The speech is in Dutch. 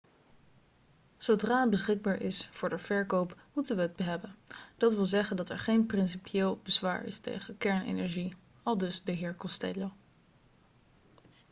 'zodra het beschikbaar is voor de verkoop moeten we het hebben. dat wil zeggen dat er geen principieel bezwaar is tegen kernenergie,' aldus de heer costello